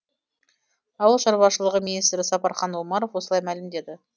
ауыл шаруашылығы министрі сапархан омаров осылай мәлімдеді